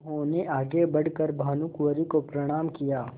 उन्होंने आगे बढ़ कर भानुकुँवरि को प्रणाम किया